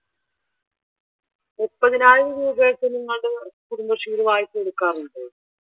മുപ്പതിനായിരം രൂപായൊക്കെ നിങ്ങളുടെ കുടുംബശ്രീയിൽ വായ്പ എടുക്കാറുണ്ടോ?